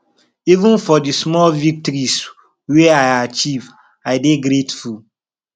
even for di small victories wey i achieve i dey grateful